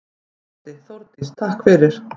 Broddi: Þórdís takk fyrir.